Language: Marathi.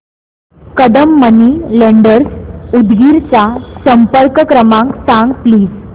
कदम मनी लेंडर्स उदगीर चा संपर्क क्रमांक सांग प्लीज